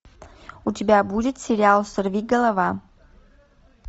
у тебя будет сериал сорвиголова